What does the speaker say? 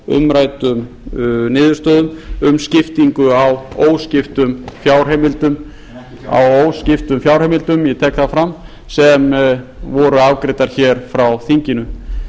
umræddum niðurstöðum um skiptingu á óskiptum fjárheimildum á óskiptum fjárheimildum ég tek það fram sem voru afgreiddar hér frá þinginu